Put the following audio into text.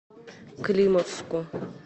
климовску